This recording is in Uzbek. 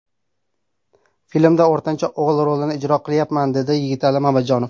Filmda o‘rtancha o‘g‘il rolini ijro qilyapman”, dedi Yigitali Mamajonov.